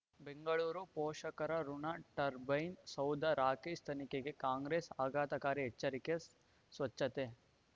ಬೆಂಗಳೂರು ಪೋಷಕರಋಣ ಟರ್ಬೈನ್ ಸೌಧ ರಾಕೇಶ್ ತನಿಖೆಗೆ ಕಾಂಗ್ರೆಸ್ ಆಘಾತಕಾರಿ ಎಚ್ಚರಿಕೆ ಸ್ವಚ್ಛತೆ